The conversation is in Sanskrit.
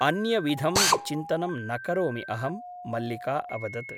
अन्यविधं चिन्तनं न करोमि अहम् ' मल्लिका अवदत् ।